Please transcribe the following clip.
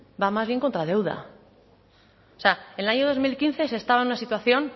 va más bien contra deuda o sea en el año dos mil quince se estaba en una situación